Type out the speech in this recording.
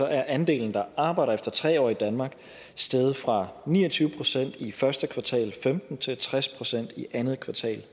andelen der arbejder efter tre år i danmark steget fra ni og tyve procent i første kvartal af femten til tres procent i andet kvartal